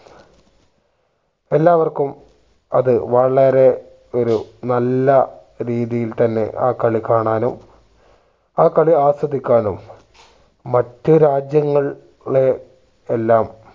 എല്ലാവർക്കുംഅത് വളരെ ഒരു നല്ല രീതിയിൽ തന്നെ ആ കളികാണാനും ആ കളി ആസ്വദിക്കാനും മറ്റു രാജ്യങ്ങൾ ളെ എല്ലാം